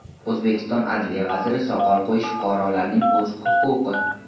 O‘zbekiston adliya vaziri: Soqol qo‘yish fuqarolarning o‘z huquqi.